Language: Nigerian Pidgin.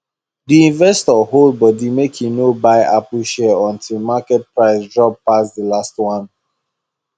di investor hold body make e no buy apple share until market price drop pass the last one